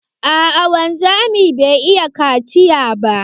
Aa wanzamin bai iya kaciya ba.